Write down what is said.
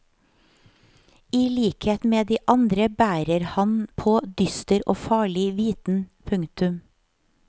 I likhet med de andre bærer han på dyster og farlig viten. punktum